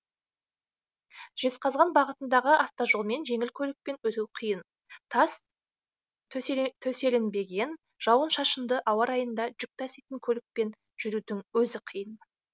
жезқазған бағытындағы автожолмен жеңіл көлікпен өту қиын тас төселінбеген жауын шашынды ауа райында жүк таситын көлікпен жүрудің өзі қиын